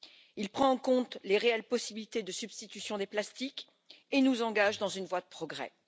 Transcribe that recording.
Il prend en compte les réelles possibilités de substitution des plastiques et nous engage dans une voie de progrès.